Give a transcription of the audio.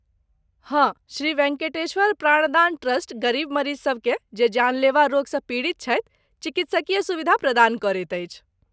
हँ, श्री वेंकटेश्वर प्राणदान ट्रस्ट गरीब मरीजसभकेँ जे जानलेवा रोगसँ पीड़ित छथि चिकित्सकीय सुविधा प्रदान करैत अछि।